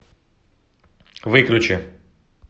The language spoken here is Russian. выключи